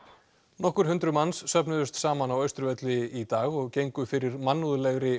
nokkur hundruð manns söfnuðust saman á Austurvelli í dag og gengu fyrir mannúðlegri